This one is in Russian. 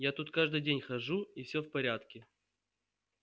я тут каждый день хожу и всё в порядке